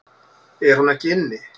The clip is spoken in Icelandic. Er hún ekki inni?